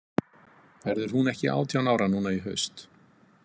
Verður hún ekki átján ára núna í haust?